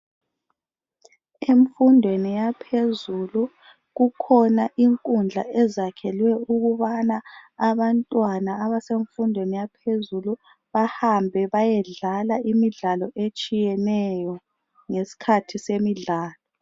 Emfundweni yaphezulu kukhona inkudla ezakhelwe ukubana abantwana abasemfundweni yaphezulu bahambe bayedlala imidlalo etshiyeneyo ngesikhathi semidlalo.